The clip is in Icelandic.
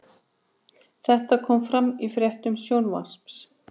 Þetta kom fram í fréttum Sjónvarps